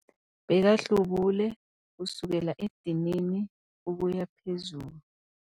Bekahlubule kusukela edinini ukuya phezulu.